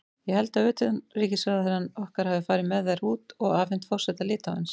Ég held að utanríkisráðherrann okkar hafi farið með þær út og afhent forseta Litháens.